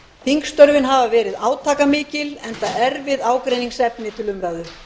þingstörfin hafa verið átakamikil enda erfið ágreiningsefni til umræðu